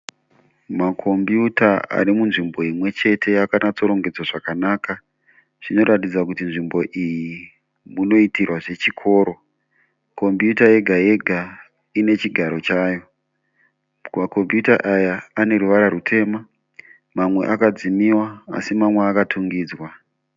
Makombiyuta ari munzvimbo imwe chete akanatsorongedzwa zavakanaka. Zvinoratidza kuti nzvimbo iyi munoitirwa zvechikoro. Kombiyuta yega yega ine chigaro chayo. Makombiyuta aya ane ruvara rutema. Mamwe akadzimiwa asi mamwe akatungidzwa.